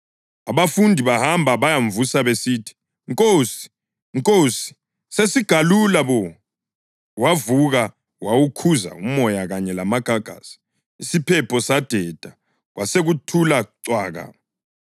Abafundi bahamba bayamvusa besithi, “Nkosi, Nkosi, sesigalula bo!” Wavuka wawukhuza umoya kanye lamagagasi; isiphepho sadeda, kwasekuthula cwaka.